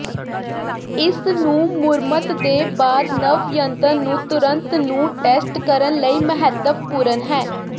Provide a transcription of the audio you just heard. ਇਸ ਨੂੰ ਮੁਰੰਮਤ ਦੇ ਬਾਅਦ ਨਵ ਜੰਤਰ ਨੂੰ ਤੁਰੰਤ ਨੂੰ ਟੈਸਟ ਕਰਨ ਲਈ ਮਹੱਤਵਪੂਰਨ ਹੈ